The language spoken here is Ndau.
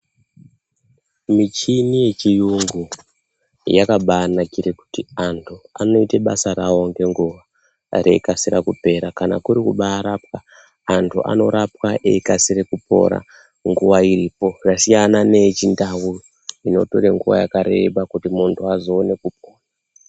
Michini yechiyungu yakabayinakire kuti andu anoite basa rawo nenguva reyikasira kupera kana kuti kubayirapa andu anorapwa eyikasire kupora nguwa iripo zvasiyana neechiNdau inotore nguwa yakareba kuti mundu azoone kupora.